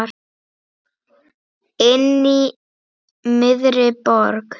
Inní miðri borg.